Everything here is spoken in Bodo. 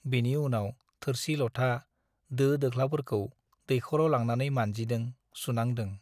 बिनि उनाव थोरसि - लथा , दो दोख्लाफोरखौ दैख'राव लांनानै मानजिदों , सुनांदों ।